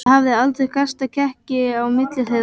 Það hafði aldrei kastast í kekki á milli þeirra.